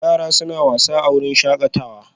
Yara suna wasa a wurin shakatawa